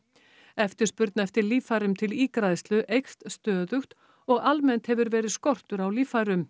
eftirspurn eftir líffærum til ígræðslu eykst stöðugt og almennt hefur verið skortur á líffærum